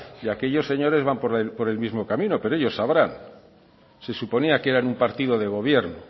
y aquellos señores van por el mismo camino pero ellos sabrán se suponía que eran un partido de gobierno